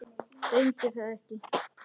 Reyni það ekki.